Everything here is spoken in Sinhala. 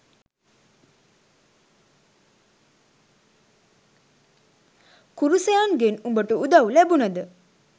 කුරුසයන්ගෙන් උඹට උදවු ලැබුනද?